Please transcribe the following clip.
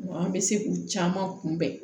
An bɛ se k'u caman kunbɛn